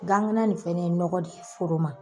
Gan kala nin fɛnɛ ye nɔgɔ de ye foro ma.